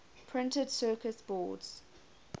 printed circuit boards